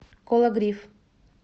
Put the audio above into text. кологрив